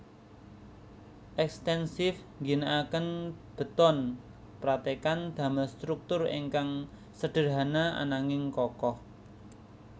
Ekstensif ngginakaken beton pratekan damel struktur ingkang sederhana ananging kokoh